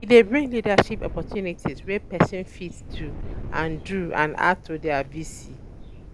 E de brind leadership opportunity wey persin fit um do and do and add to their VC